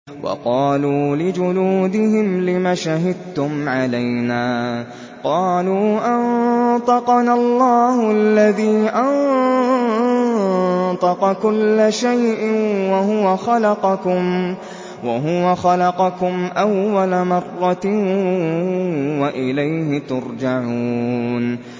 وَقَالُوا لِجُلُودِهِمْ لِمَ شَهِدتُّمْ عَلَيْنَا ۖ قَالُوا أَنطَقَنَا اللَّهُ الَّذِي أَنطَقَ كُلَّ شَيْءٍ وَهُوَ خَلَقَكُمْ أَوَّلَ مَرَّةٍ وَإِلَيْهِ تُرْجَعُونَ